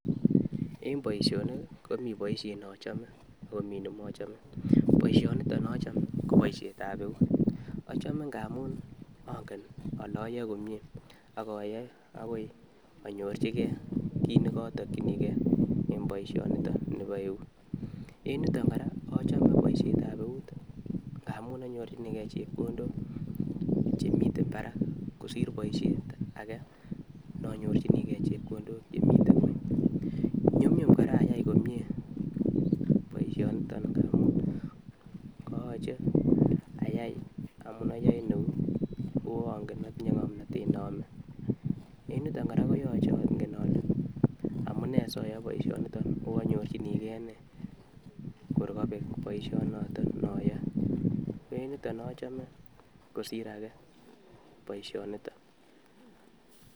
E'ng boisionik, komii boisyet ne achome akomi ne mochome. Boisyonito ne achome ko boisyetab eut achome ng'aamun angen ale ayae komye ak ayae agoi anyorchigei kiit ne ka tokyinikei eng boisyonitok nebo eut. E'ng yutok kora achome boisyetab eut ng'aamu anyorchinikei chepkondok chemitei barak kosir boisyet age ne anyorchoinigei chepkondok chemitei ngony. Nyumnyum kora aai komye boisyonitok bo eut yachei ayai amu ayae eut ako angen ale atinye ngomnotet ne yame. Eng yutok kora koyachei angen ale amune si ayai boisyonitok kokanyorchinigei nee koi kabek boisyonotok ne ayae kito ne achome kosir ake boisyonitok.